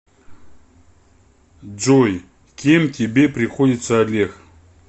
джой кем тебе приходится олег